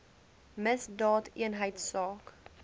misdaadeenheidsaak